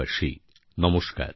আমার প্রিয় দেশবাসী নমস্কার